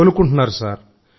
కోలుకుంటున్నారు sir